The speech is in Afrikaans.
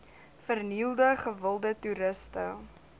vernielde gewilde toeriste